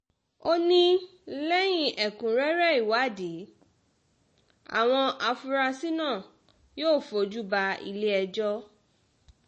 ó ní lẹ́yìn ẹ̀kúnrẹ́rẹ́ ìwádìí àwọn afurasí náà yóò fojú ba ilé-ẹjọ́